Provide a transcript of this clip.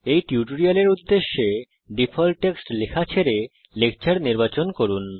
এই টিউটোরিয়ালের উদ্দেশ্যে ডিফল্ট টেক্সট লেখা ছেড়ে লেকচার নির্বাচন করি